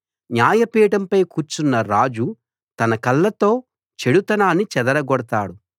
న్యాయపీఠంపై కూర్చున్న రాజు తన కళ్ళతో చెడుతనాన్ని చెదరగొడతాడు